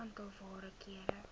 aantal waarde kere